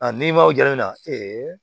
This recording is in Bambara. A n'i m'o ja na